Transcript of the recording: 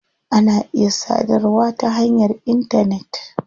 Ana iya sadarwa ta hanyar intanet.